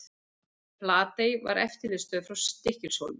Flatey var eftirlitsstöð frá Stykkishólmi.